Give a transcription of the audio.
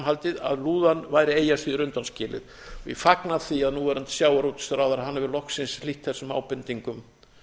haldið að lúðan væri eigi að síður undanskilin ég fagna því að núverandi sjávarútvegsráðherra hefur loksins hlýtt þessum ábendingum